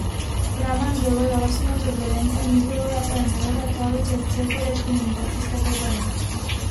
Vreme je bilo jasno, turbulence ni bilo, je pa imelo letalo čez cel polet komunikacijske težave.